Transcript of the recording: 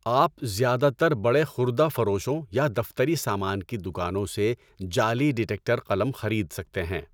آپ زیادہ تر بڑے خوردہ فروشوں یا دفتری سامان کی دوکانوں سے جعلی ڈٹیکٹر قلم خرید سکتے ہیں۔